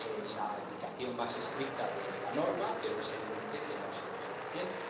la aplicación más estricta de la norma, pero es evidente que no ha sido suficiente.